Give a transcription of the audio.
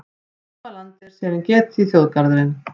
Í hvaða landi er Serengeti þjóðgarðurinn?